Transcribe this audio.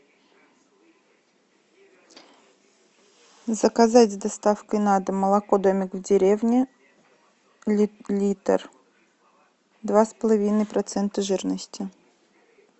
заказать с доставкой на дом молоко домик в деревне литр два с половиной процента жирности